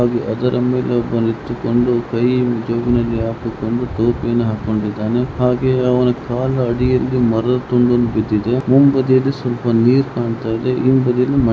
ಹಡಗಿನ ಮೇಲೆ ಒಬ್ಬ ನಿಂತುಕೊಂಡು ಹಾಗೆ ಅವನ ಕಾಲ ಅಡಿಯಲ್ಲಿ ಮರದ ತುಂಡೊಂದು ಬಿದ್ದಿದೆ ಮುಂಬದಿಯಲ್ಲಿ ಸ್ವಲ್ಪ ನೀರು ಕಾಣ್ತಾ ಇದೆ. --]